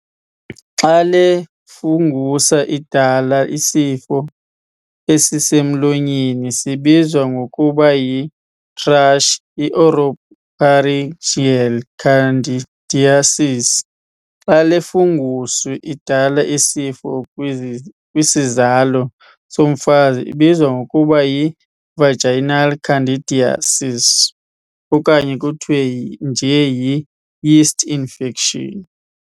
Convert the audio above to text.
Xa le fungus idala isifo esisemlonyeni sibizwa ngokuba yi-thrush, i-oropharyngeal candidiasis. Xa le fungus idala isifo kwisizalo somfazi ibizwa ngokuba yi-vaginal candidiasis okanye kuthiwa nje yi-'yeast infection'.